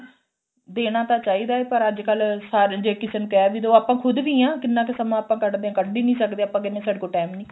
ਦੇਣਾ ਤਾਂ ਚਾਹੀਦਾ ਪਰ ਅੱਜਕਲ ਸਾਰੇ ਜੇ ਕਿਸੇ ਨੂੰ ਕਹਿ ਵੀ ਦੋ ਆਪਾਂ ਖੁਦ ਵੀ ਆ ਕਿੰਨਾ ਕ ਸਮਾਂ ਆਪਾਂ ਕੱਢਦੇ ਆ ਕੱਢ ਈ ਨਹੀਂ ਸਕਦੇ ਆਪਾ ਕਹਿੰਦੇ ਆ ਸਾਡੇ ਕੋਲ time ਈ ਨੀ